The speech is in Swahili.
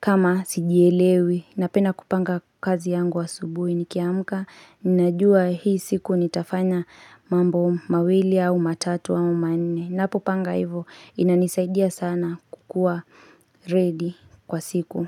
kama sijielewi. Napenda kupanga kazi yangu asubui nikiamka. Ninajua hii siku nitafanya mambo mawili au matatu au mane. Napopanga hivo inanisaidia sana kukuwa ready kwa siku.